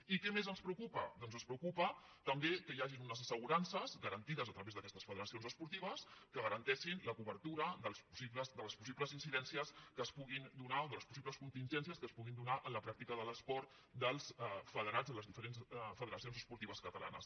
i què més ens preocupa doncs ens preocupa tam·bé que hi hagin unes assegurances garantides a tra vés d’aquestes federacions esportives que garanteixin la co·bertura de les possibles incidències que es puguin donar o de les possibles contingències que es puguin donar en la pràctica de l’esport dels federats a les diferents fede·racions esportives catalanes